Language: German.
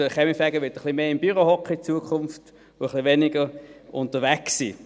Der Kaminfeger wird in Zukunft ein bisschen mehr im Büro sitzen und ein bisschen weniger unterwegs sein.